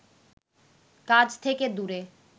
কাজ থেকে দূরে